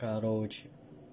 короче